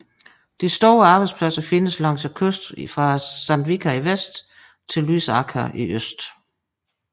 De store arbejdspladser findes langs kysten fra Sandvika i vest til Lysaker i øst